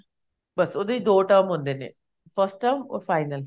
ਬੱਸ ਉਹਦੇ ਵਿੱਚ ਦੋ term ਹੁੰਦੇ ਨੇ first term or final